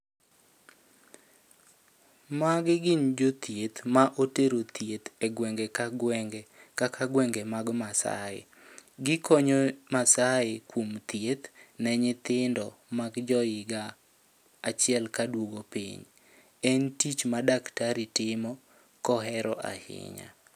Magi gin jothieth ma otero thieth e gwenge ka gwenge, kaka gwenge mag Maasai. Gikonyo Maasai kuom thieth ne nyithindo mag jo higa achiel ka duogo piny. En tich ma daktari timo kohero ahinya.